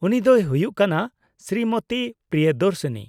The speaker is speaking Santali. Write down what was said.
-ᱩᱱᱤ ᱫᱚᱭ ᱦᱩᱭᱩᱜ ᱠᱟᱱᱟ ᱥᱨᱤᱢᱚᱛᱤ ᱯᱨᱤᱭᱚᱫᱚᱨᱥᱤᱱᱤ ᱾